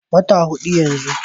Wata hudu yanzu.